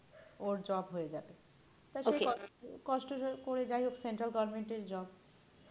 ওর job হয়ে যাবে তা সে okay কষ্ট করে যাইহোক central goverment এর job হ্যাঁ